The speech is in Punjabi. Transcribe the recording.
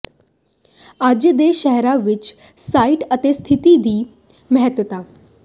ਅੱਜ ਦੇ ਸ਼ਹਿਰਾਂ ਵਿਚ ਸਾਈਟ ਅਤੇ ਸਿਥਤੀ ਦੀ ਮਹੱਤਤਾ